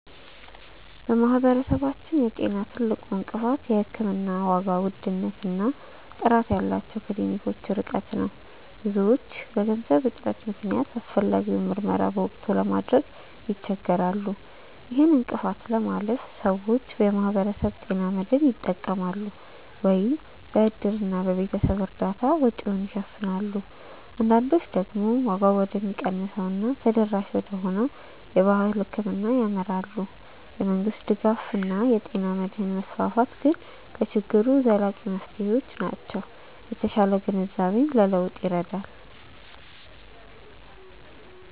በማህበረሰባችን የጤና ትልቁ እንቅፋት የሕክምና ዋጋ ውድነት እና ጥራት ያላቸው ክሊኒኮች ርቀት ነው። ብዙዎች በገንዘብ እጥረት ምክንያት አስፈላጊውን ምርመራ በወቅቱ ለማድረግ ይቸገራሉ። ይህን እንቅፋት ለማለፍ ሰዎች የማህበረሰብ ጤና መድህን ይጠቀማሉ፤ ወይም በእድርና በቤተሰብ እርዳታ ወጪውን ይሸፍናሉ። አንዳንዶች ደግሞ ዋጋው ወደሚቀንሰው እና ተደራሽ ወደሆነው የባህል ሕክምና ያመራሉ። የመንግስት ድጋፍ እና የጤና መድህን መስፋፋት ግን ለችግሩ ዘላቂ መፍትሄዎች ናቸው። የተሻለ ግንዛቤም ለለውጥ ይረዳል።